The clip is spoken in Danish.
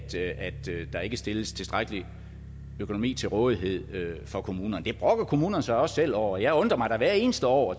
der ikke stilles tilstrækkelig økonomi til rådighed for kommunerne det brokker kommunerne sig også selv over og jeg undrer mig da hvert eneste år